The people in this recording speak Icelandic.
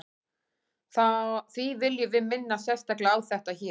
því viljum við minna sérstaklega á þetta hér